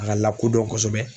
A ka lakodɔn kosɛbɛ